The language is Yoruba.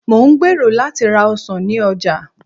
mo n gbero lati ra ọsàn ni oja